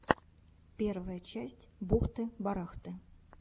первая часть бухты барахты